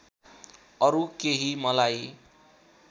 अरु केही मलाई